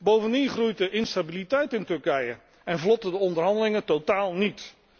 Bovendien groeit de instabiliteit in Turkije en vlotten de onderhandelingen totaal niet.